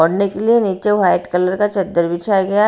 ओढ़ने के लिए नीचे व्हाइट कलर का चद्दर बिछाया गया है।